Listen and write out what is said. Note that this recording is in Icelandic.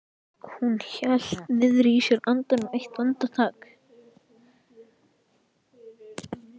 Hún hélt niðri í sér andanum eitt andartak.